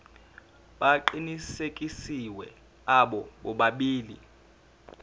aqinisekisiwe abo bobabili